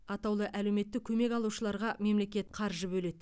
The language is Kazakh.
атаулы әлеуметтік көмек алушыларға мемлекет қаржы бөледі